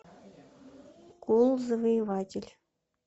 кулл завоеватель